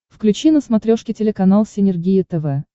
включи на смотрешке телеканал синергия тв